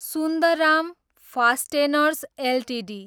Sundaram Fasteners Ltd